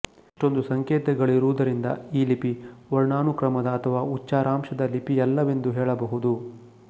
ಇಷ್ಟೊಂದು ಸಂಕೇತಗಳಿರುವುದರಿಂದ ಈ ಲಿಪಿ ವರ್ಣಾನುಕ್ರಮದ ಅಥವಾ ಉಚ್ಚಾರಾಂಶದ ಲಿಪಿಯಲ್ಲವೆಂದು ಹೇಳಬಹುದು